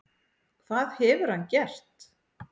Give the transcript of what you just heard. Hvað hefur hann gert?